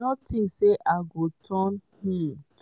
no tink say i go turn um to."